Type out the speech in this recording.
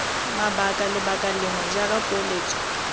mabaka lebaka lengwe jaaka poeletso